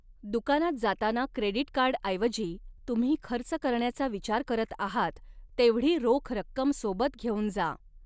दुकानात जाताना क्रेडिट कार्डऐवजी तुम्ही खर्च करण्याचा विचार करत आहात तेवढी रोख रक्कम सोबत घेऊन जा.